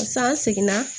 Sisan an seginna